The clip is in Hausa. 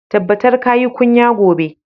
Tabbatar ka yi kunya gobe!